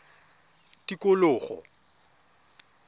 tikologo